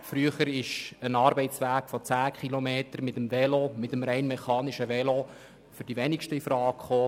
Früher kam ein Arbeitsweg von 10 Kilometern mit einem rein mechanischen Velo für die wenigsten Leute infrage.